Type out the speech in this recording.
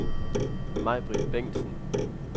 Majbrit Bengtsen